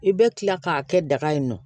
I bɛ kila k'a kɛ daga in nɔ